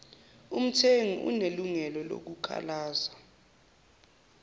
umthengi unelungelo lokukhalaza